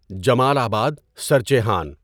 جمال آباد، سرچیحان